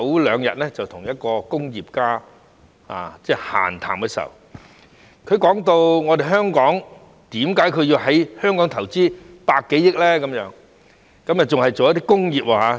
兩天前，我跟一位工業家閒談，問他為何要在香港投資100多億元，而且還要是工業。